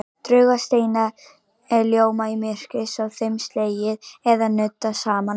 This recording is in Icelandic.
Draugasteinar ljóma í myrkri sé þeim slegið eða nuddað saman.